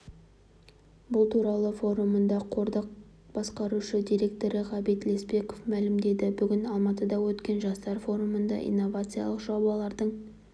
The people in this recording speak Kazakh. бұл туралы форумында қордың басқарушы директоры ғабит лесбеков мәлімдеді бүгін алматыда өткен жастар форумында инновациялық жобалардың